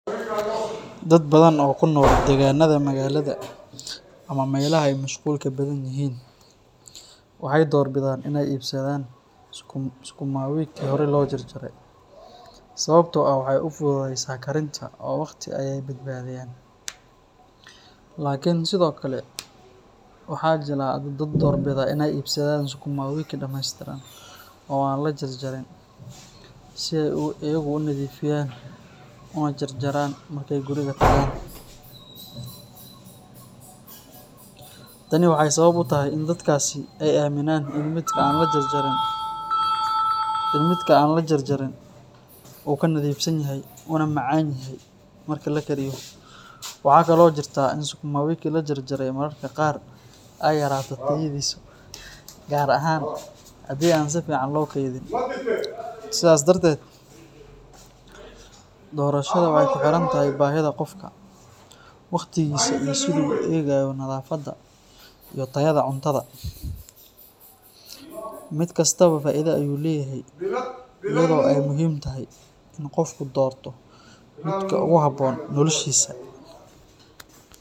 Dad badan oo ku nool deegaanada magaalada ama meelaha ay mashquulka badan yihiin waxay door bidaan inay iibsadaan sukuma wiki horey loo jarjaray sababtoo ah waxay u fududeysaa karinta oo waqti ayay ka badbaadiyaan. Laakiin sidoo kale waxaa jira dad doorbida inay iibsadaan sukuma wiki dhameystiran oo aan la jarjarin si ay iyagu u nadiifiyaan una jarjaraan marka ay guriga tagaan. Tani waxay sabab u tahay in dadkaasi ay aaminaan in midka aan la jarjarin uu ka nadiifsan yahay, una macaan yahay marka la kariyo. Waxaa kaloo jirta in sukuma wiki la jarjaray mararka qaar ay yaraato tayadiisu, gaar ahaan haddii aan si fiican loo keydin. Sidaas darteed, doorashada waxay ku xiran tahay baahida qofka, waqtigiisa iyo sida uu u eegayo nadaafadda iyo tayada cuntada. Mid kastaaba faa’iido ayuu leeyahay iyadoo ay muhiim tahay in qofku doorto midka ugu habboon noloshiisa.